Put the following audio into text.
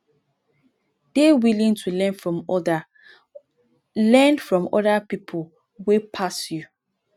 dey willing to learn from oda learn from oda pipo wey pass you